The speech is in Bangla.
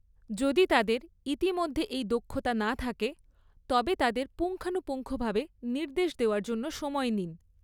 যদি তাদের ইতিমধ্যে এই দক্ষতা না থাকে তবে তাদের পুঙ্খানুপুঙ্খভাবে নির্দেশ দেওয়ার জন্য সময় নিন।